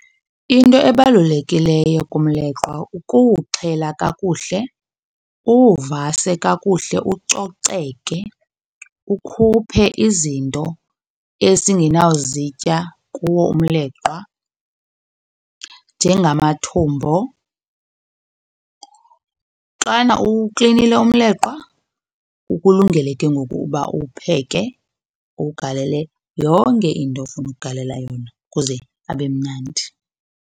Into ebalulekileyo kumleqwa kuwuxhela kakuhle, uwuvase kakuhle ucoceke, ukhuphe izinto esingenawuzitya kuwo umleqwa njengamathumbo. Xana uwuklinile umleqwa ukulungele ke ngoku uba uwupheke, uwugalele yonke into ofuna ukugalela yona kuze abe mnandi.